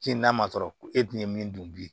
n'a ma sɔrɔ ko e dun ye min dun bilen